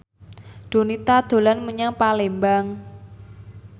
Donita dolan menyang Palembang